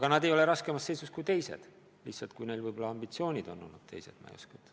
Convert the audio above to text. Ja nad ei ole raskemas seisus kui teised, lihtsalt neil võib-olla ambitsioonid on olnud teised – ma ei oska öelda.